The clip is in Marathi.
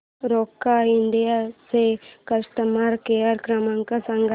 रोका इंडिया चा कस्टमर केअर क्रमांक सांगा